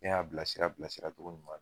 Ne y'a bila sira bila sira togo ɲuma na